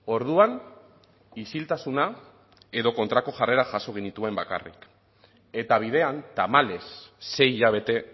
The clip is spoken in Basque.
orduan isiltasuna edo kontrako jarrerak jaso genituen bakarrik eta bidean tamalez sei hilabete